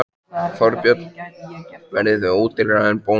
Þorbjörn: Verðið þið ódýrari en Bónus?